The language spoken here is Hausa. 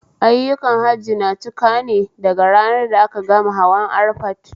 Ayyukan Hajji na cika ne daga ranar da a ka gama hawan arfat